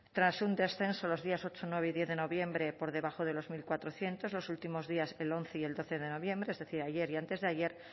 tras un descenso los días ocho nueve y diez de noviembre por debajo de los mil cuatrocientos los últimos días el once y el doce de noviembre es decir ayer y antes de ayer